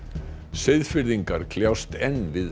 Seyðfirðingar kljást enn við